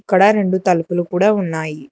అక్కడ రెండు తలుపులు కూడా ఉన్నాయి.